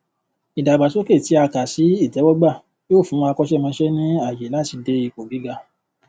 ìdàgbàsókè tí a kà sí itẹwọgbà yóò fún akọṣẹmọṣẹ ní ààyè láti dé ipò gíga